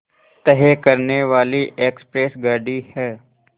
तय करने वाली एक्सप्रेस गाड़ी है